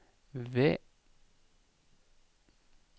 ved